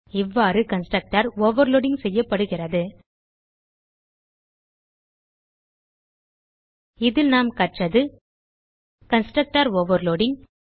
இவ்வாறு constructor overloading செய்யப்படுகிறது இதில் நாம் கற்றது கன்ஸ்ட்ரக்டர் ஓவர்லோடிங்